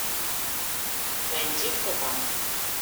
найди кто там